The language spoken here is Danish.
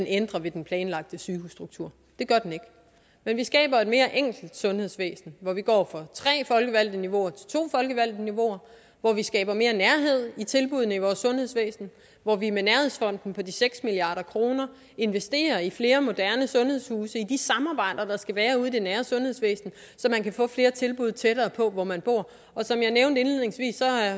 ændrer ved den planlagte sygehusstruktur det gør den ikke men vi skaber et mere enkelt sundhedsvæsen hvor vi går fra tre folkevalgte niveauer til to folkevalgte niveauer og vi skaber mere nærhed i tilbuddene i vores sundhedsvæsen hvor vi med nærhedsfonden på seks milliard kroner investerer i flere moderne sundhedshuse og i de samarbejder der skal være ude i det nære sundhedsvæsen så man kan få flere tilbud tættere på hvor man bor som jeg nævnte indledningsvis